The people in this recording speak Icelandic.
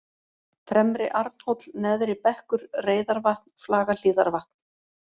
Fremri-Arnhóll, Neðri-Bekkur, Reiðarvatn, Flagahlíðarvatn